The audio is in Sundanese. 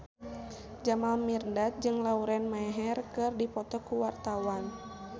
Jamal Mirdad jeung Lauren Maher keur dipoto ku wartawan